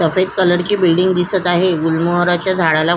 सफेद कलर ची बिल्डिंग दिसत आहे गुलमोहराच्या झाडाला--